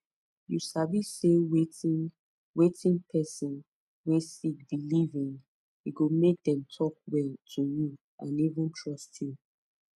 you sabi say wetin wetin person wey sick believe in e go make them talk well to you and even trust you